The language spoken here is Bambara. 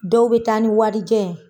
Dɔw be taa ni warijɛ ye.